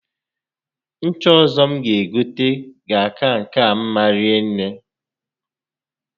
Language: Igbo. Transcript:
Ncha ọzọ m ga egote ga-aka nke a mma rinne